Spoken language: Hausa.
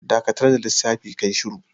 Dakatar da lissafi, ka yi shuru!